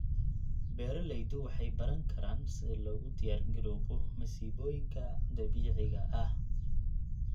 Beeraleydu waxay baran karaan sida loogu diyaargaroobo masiibooyinka dabiiciga ah.